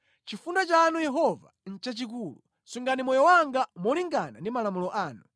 Chifundo chanu Yehova nʼchachikulu; sungani moyo wanga molingana ndi malamulo anu.